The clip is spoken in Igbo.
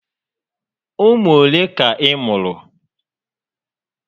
Ụmụ olé ka ị mụ̀rụ̀?